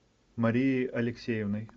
марией алексеевной